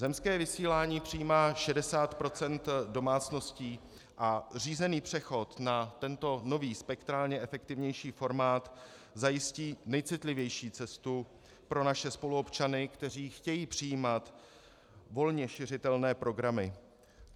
Zemské vysílání přijímá 60 % domácností a řízený přechod na tento nový, spektrálně efektivnější formát zajistí nejcitlivější cestu pro naše spoluobčany, kteří chtějí přijímat volně šiřitelné programy.